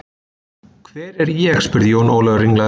Hvar er ég spurði Jón Ólafur ringlaður.